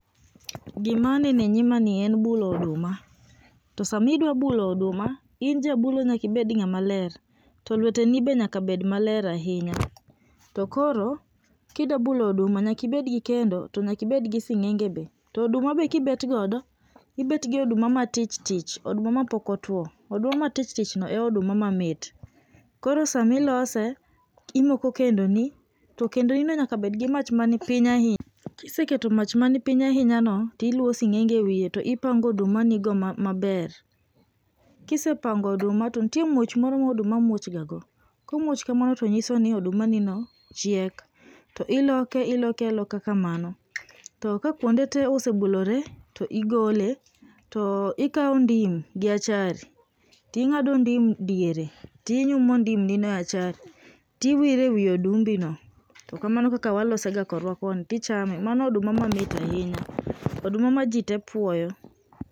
Gima aneno enyimani en bulo oduma. To sama idwa bulo oduma, in jabulo nyaka ibed ng'ama ler. To lweteni be nyaka bed maler ahinya. Koro kidwa bulo oduma to nyaka ibed gi kendo to nyaka ibed gi sing'enge be. To oduma be kibet godo to ibedt goduma matich tich. Oduma mapok otuio. Oduma matich tich ni e oduma mamit. Koro sama ilose, imoko kendoni, to kendnino nyaka bed man gi mach mapiny ahinya. Kiseketo mach man piny ahinyano, to iluwo sing'enge ewiye to ipango odumanigo maber. Kisepango oduma to nitie muoch moro ma oduma muoch gago, komuoch kamano to nyiso ni oduma nino chiek. To ilokre iloke aloka kamano, to ka kuonde te osebulore to igole, to ikawo ndim gi achari, to ing'ado ndim e diere to inyumo ndim nino e achari to iwiro ewi odumbino. To kamano e kaka wan walosega korwa koni. To ichame, mano oduma mamit ahinya, oduma ma jite puoyo.